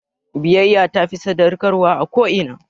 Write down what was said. Biyayya tafi sadaukarwa a ko'ina